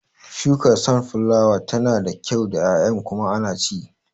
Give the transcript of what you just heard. Shukar sunflower tana da kyau da ƴaƴan kuma ana ci